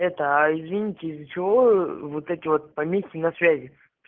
это аа извините из-за чего ээ вот эти вот помехи на связи